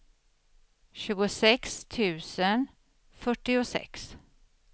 tjugosex tusen fyrtiosex